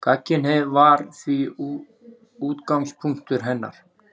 Gagnkynhneigð var því útgangspunktur hennar.